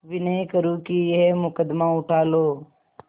विनय करुँ कि यह मुकदमा उठा लो